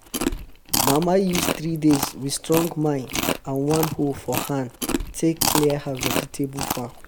mama use three days wit strong mind and one hoe for hand take clear her vegetable vegetable farm